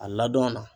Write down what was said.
A ladon na